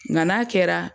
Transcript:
Nka n'a kɛra